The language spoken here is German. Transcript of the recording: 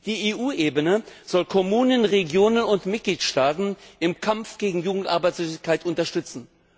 Die EU Ebene soll Kommunen, Regionen und Mitgliedstaaten im Kampf gegen Jugendarbeitslosigkeit unterstützen.